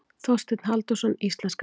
Þorsteinn Halldórsson íslenskaði.